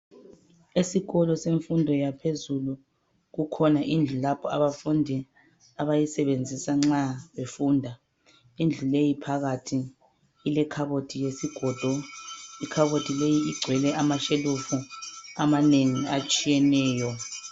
Esikolo semfundo yaphezulu kukhona indlu lapho abafundi abayisebenzisa nxa befunda . Indlu leyi phakathi ilekhabothi yesigodo. Ikhabothi leyi igcwele amashelufu amanengi atshiyeneyo.